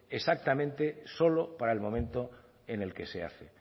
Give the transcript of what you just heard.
exactamente solo para el momento en el que se hace